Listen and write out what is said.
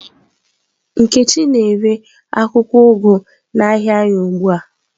Nkechi na-ere akwụkwọ ugu n'ahịa anyị ugbu a.